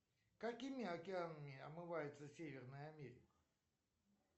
какими океанами омывается северная америка